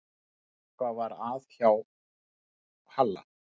Eitthvað var að hjá Halla.